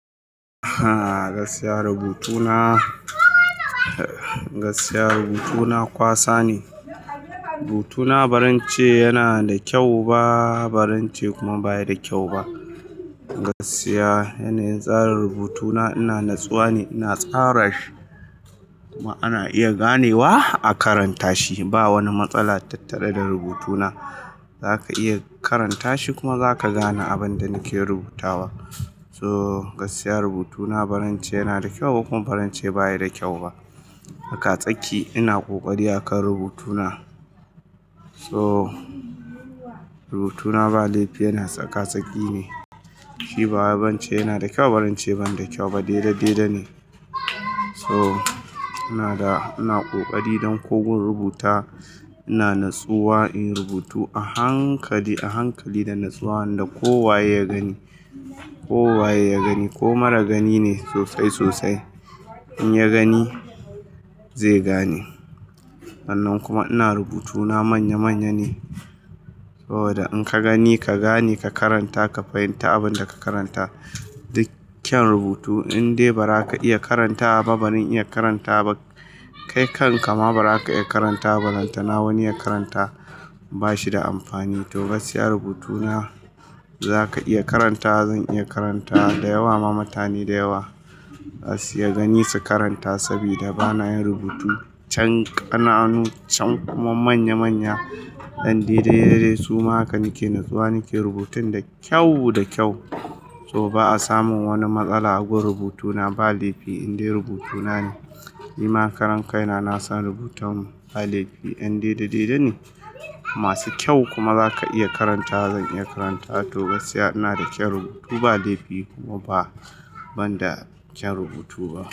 Ah gaskiya rubutuna, gaskiya rubutuna kwasa ne. Rubutuna barance yana da kyau ba barance kuma baya da kyau ba. Gaskiya yanayin tsarin rubutuna, ina natsuwa ne, ina tsara shi kuma ana iya ganewa a karanta shi. Ba wani matsala tattare da rubutuna. Zaka iya karanta shi kuma zaka gane abin da nake rubutawa. So gaskiy rubutuna barance yana da kyau ba kuma barance baya da kyau ba. A kasaki ina kokari akan rubutuna. So rubutuna ba laifi yana tsaka tsaki ne, shi baya barance yana da kyau barance ban da kyau ba, daidai daidai ne. So ina da, ina kokari don ko gun rubuta ina natsuwa in rubutu a hankali, a hankali da natsuwa da kowaye ya gani, kowaye ya gani ko mara gani ne sosai sosai in ya gani zai gane. Hannan kuma ina rubutu na manya manya ne. Saboda in ka gani ka gane ka karanta ka fahimta abin da ka karanta. Duk kyan rubutu indai ba za ka iya karanta ba, ban iya karanta ba. Kai kan ka ma ba za ka iya karanta ba. Karanta na wani ya karanta ba shi da amfani. To gaskiya rubutuna za ka iya karanta, zan iya karanta da yawa ma mutane da yawa za su iya gani su karanta saboda bana yin rubutu chan ƙananu chan kuma manya manya ɗan daidai dai dai. Suma haka nake natsuwa nake rubuta da kyau da kyau. To ba a samun wani matsala a gun rubutuna ba laifi indai rubutuna ne. Ni ma karan kai na na san rubutan ba laifi, yan daidai daidai ne. Masu kyau kuma za ka iya karanta, zan iya karanta toh gaskiya ina da kyan rubutu ba laifi kuma ba ban da kyan rubutu ba.